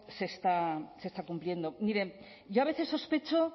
se está cumpliendo miren yo a veces sospecho